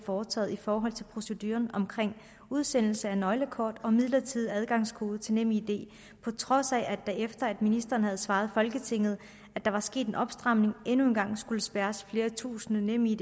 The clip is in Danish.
foretaget i forhold til proceduren omkring udsendelse af nøglekort og midlertidig adgangskode til nemid på trods af at der efter at ministeren havde svaret folketinget at der var sket en opstramning endnu en gang skulle spærres flere tusinde nemid